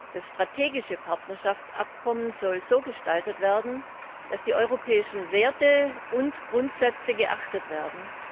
Das strategische Partnerschaftsabkommen soll so gestaltet werden, dass die europäischen Werte und Grundsätze geachtet werden.